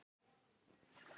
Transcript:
Þá stífnar hún upp.